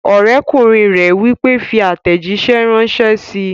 Ọ̀rẹ́kùnrin rẹ̀ wí pé, "fi àtẹ̀jísẹ́ ránṣẹ́ síi!"